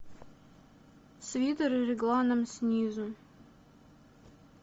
свитеры регланом снизу